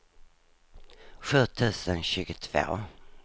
sju tusen tjugotvå